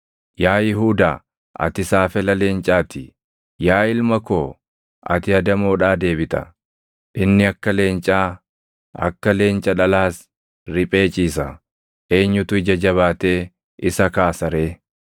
Yaa Yihuudaa ati saafela leencaa ti; yaa ilma koo ati adamoodhaa deebita. Inni akka leencaa, akka leenca dhalaas, riphee ciisa; eenyutu ija jabaatee isa kaasa ree?